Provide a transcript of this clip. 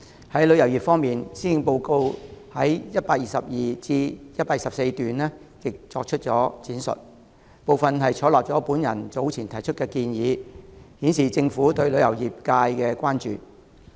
在旅遊業方面，施政報告在122段至124段亦作出了闡述，當中一些部分採納了我早前提出的建議，顯示政府對旅遊業界的關注。